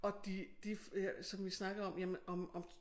Og de de som vi snakkede om jamen om om